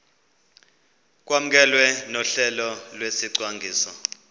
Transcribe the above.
kwamkelwe nohlelo lwesicwangciso